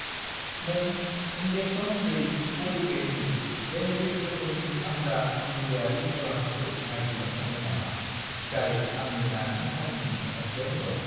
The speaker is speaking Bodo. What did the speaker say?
नों इन्जेक्सन दै पलिपेकनि जेनेरिक रोखोमनि फानग्रा मुलिआरि गलाफोरखौ नागिरनो हागोन नामा, जाय आंनि दानि थावनिनि साखाथियाव दं?